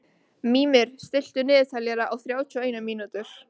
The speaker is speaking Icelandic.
Mímir, stilltu niðurteljara á þrjátíu og eina mínútur.